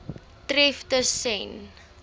tref tus sen